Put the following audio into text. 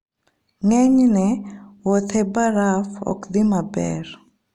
Ng'enyne, wuoth e baraf ok dhi maber.